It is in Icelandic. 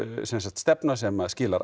stefna sem skilar